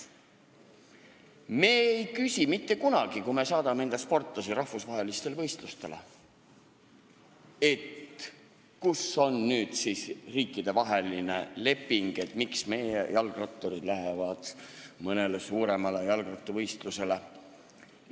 Me ei küsi mitte kunagi, kui me saadame sportlasi rahvusvahelistele võistlustele, kus on ikkagi riikidevaheline leping, miks näiteks meie jalgratturid lähevad mõnele suurele jalgrattavõistlusele.